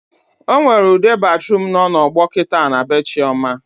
Ọnwere ute batruum nọ na ọgbọ kịta na bee Chioma